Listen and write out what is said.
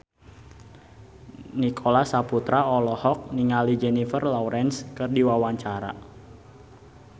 Nicholas Saputra olohok ningali Jennifer Lawrence keur diwawancara